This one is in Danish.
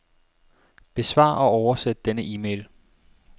Besvar og oversæt denne e-mail.